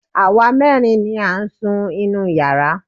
Àwa mẹ́rin ni à ń sun inú yàrá